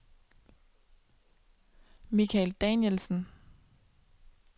Mikael Danielsen